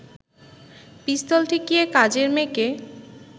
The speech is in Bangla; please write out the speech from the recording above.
পিস্তল ঠেকিয়ে কাজের মেয়েকে